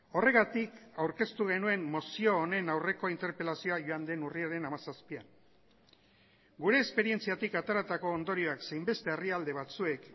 horregatik aurkeztu genuen mozio honen aurreko interpelazioa joan den urriaren hamazazpian gure esperientziatik ateratako ondorioak zein beste herrialde batzuek